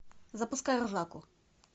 запускай ржаку